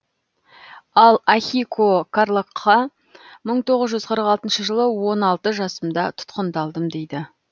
ал ахико карлагқа мың тоғыз жүз қырық алтыншы жылы он алты жасымда тұтқындалдым дейді